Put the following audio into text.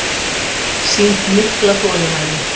Sýnt mikla þolinmæði